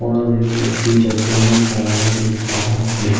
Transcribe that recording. और वो वय्क्ति चड्डी में खड़ा हुआ दिख रहा है।